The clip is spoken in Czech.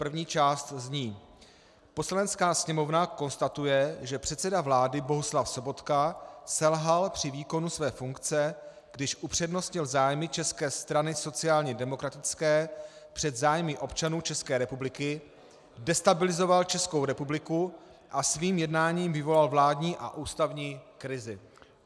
První část zní: "Poslanecká sněmovna konstatuje, že předseda vlády Bohuslav Sobotka selhal při výkonu své funkce, když upřednostnil zájmy České strany sociálně demokratické před zájmy občanů České republiky, destabilizoval Českou republiku a svým jednáním vyvolal vládní a ústavní krizi."